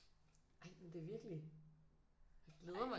Ej men det er virkelig jeg glæder mig